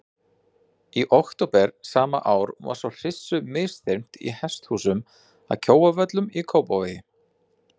Í október sama ár var svo hryssu misþyrmt í hesthúsum að Kjóavöllum í Kópavogi.